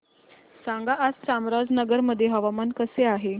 सांगा आज चामराजनगर मध्ये हवामान कसे आहे